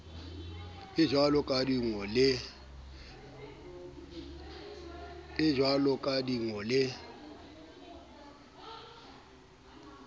e jwaloka di ngo le